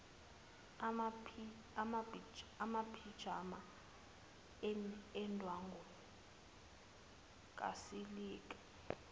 amaphijama endwangu kasilika